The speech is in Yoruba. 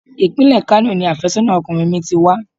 Ìpínlẹ̀ Kano ni àfẹ́sọ́nà ọkùnrin mi ti wá.